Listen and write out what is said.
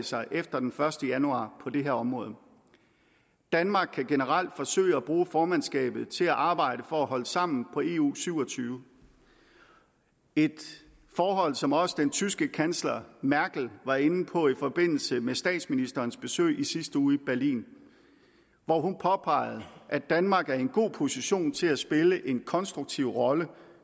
sig efter den første januar på det her område danmark kan generelt forsøge at bruge formandskabet til at arbejde for at holde sammen på eu syv og tyve et forhold som også den tyske kansler merkel var inde på i forbindelse med statsministerens besøg i sidste uge i berlin hvor hun påpegede at danmark er i en god position til at spille en konstruktiv rolle